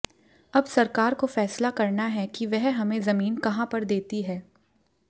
अब सरकार को फैसला करना है कि वह हमें जमीन कहां पर देती है